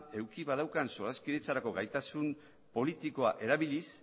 eduki badaukan solaskidetzarako gaitasun politikoa erabiliz